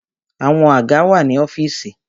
Àwọn àga wà ní ọ́fìsì.